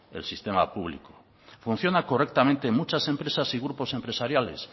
el sistema público funciona correctamente en muchas empresas y grupos empresariales